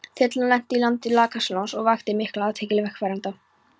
Þyrlan lenti í landi Laxalóns og vakti mikla athygli vegfarenda.